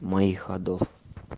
моих ходов